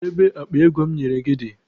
Kedu ebe akpa ego m nyere gị dị?